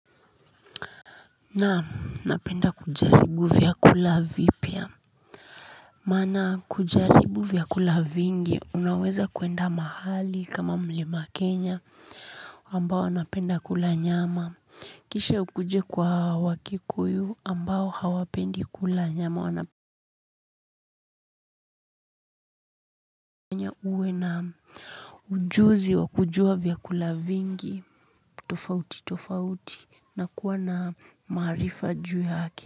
Naam napenda kujaribu vyakula vipya maana kujaribu vyakula vingi unaweza kuenda mahali kama mlima Kenya ambao napenda kula nyama kisha ukuje kwa wakikuyu ambao hawapendi kula nyama wanafanya uwe ujuzi wa kujua vyakula vingi tofauti tofauti na kuwa na maarifa juu yake.